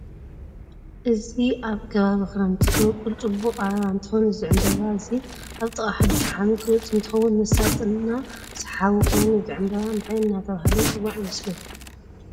እዚ ኣብ ከባቢ ክረምት ዝወቅል ፅቡቅ ኣበባ እንትከውን እዚ ዕንበባ እዚ ኣብ ጥቃ ሓድሽ ዓመት ዝወፅ አንትከውን መሳጥ እና ሳሃብ ኮይኑ እዚ ዕንባባ እንታይ እዳተበሃለ ይፅዋዕ ይመስለኩም?